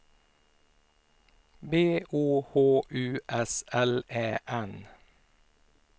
B O H U S L Ä N